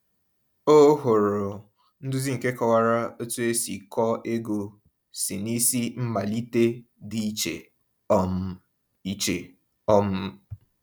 O hụrụ nduzi nke kọwara otu esi kọọ ego si n’isi mmalite dị iche um iche. um